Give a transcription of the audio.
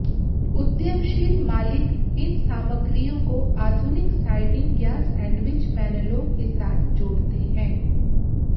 उद्यमशील मालिक इन सामग्रियों को आधुनिक साइडिंग या सैंडविच पैनलों के साथ जोड़ते हैं